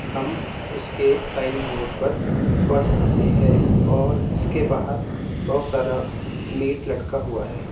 हम इसके signing board पर पढ़ सकते हैं और इसके बाहर बहोत सारा मीट लटका हुआ है।